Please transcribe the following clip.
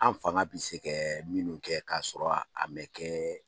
An fanga bɛ se kɛ minnu kɛ ka sɔrɔ a mɛn kɛ